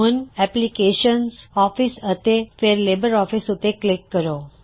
ਹੁਣ ਐਪਲਿਕੇਸ਼ਨਜ਼ਆਫਿਸ ਅਤੇ ਫੇਰ ਲਿਬਰ ਆਫਿਸ ਉੱਤੇ ਕਲਿੱਕ ਕਰੋ